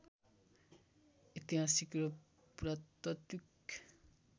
ऐतिहासिक र पुरातात्त्विक